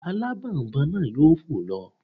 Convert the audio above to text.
Alábònboǹ náà yóò fò lọ